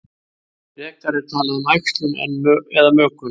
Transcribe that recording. Frekar er talað um æxlun eða mökun.